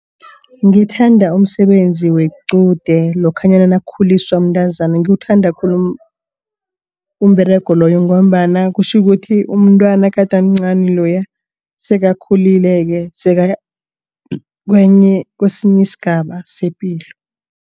Ngithanda umsebenzi wequde lokhanyana nakukhuliswa umntazana. Ngiwuthanda khulu umberego loyo ngombana kutjhukuthi umntwana gade amncani loya sekakhulileke sekaya kwesinye isigaba sepilo.